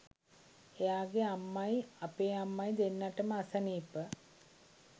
එයාගේ අම්මයි අපේ අම්මයි දෙන්නාටම අසනීප